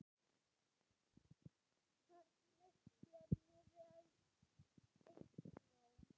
Farnist þér nú vel, Eygló.